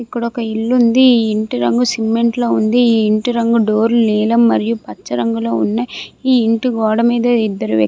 ఇక్కడ ఒక ఇల్లు ఉంది ఈ ఇంటి రంగు సిమెంట్ లో ఉంది ఈ ఇంటి రంగు డోర్ లు నీలం మరియు పచ్చ రంగులో ఉన్నాయ్ ఈ ఇంటి గోడ మీద ఇద్దరు వ్యక్తు --